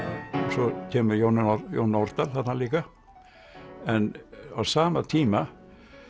svo kemur Jón Jón Nordal þarna líka en á sama tíma